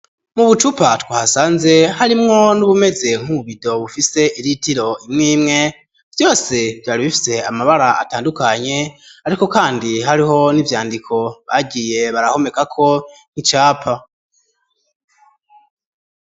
Mu bucupa twahasanze harimwo n'ubumeze nkibido bufise iritiro imwe imwe, vyose vyari bifite amabara atandukanye ariko kandi hariho n'ivyandiko bagiye barahomeka ko nk'icapa.